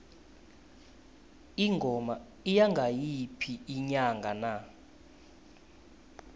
ingoma iya ngayiphi inyanga na